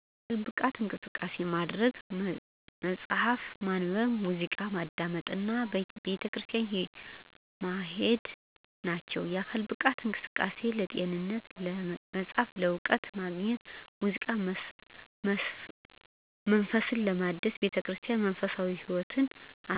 የአካል ብቃት እንቅስቃሴ ማድረግ፣ መጽሀፍ ማንበብ፣ ሙዚቃ ማዳመጥ እና ቤተክርስቲያን ማሄድ ናቸው። የአካል ብቃት እንቅስቃሴ ለጤንነት፣ መጽሐፍ እውቀት ለማግኘት፣ ሙዚቃ መንፈስ ለማደስና ቤተክርስቲያን መንፈሳዊ ህይወት አስተዋጽኦ ያደርጋል።